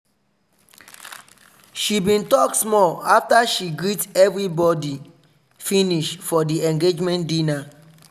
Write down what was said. she bin talk small after she greet everibidu finish for di engaement dinner.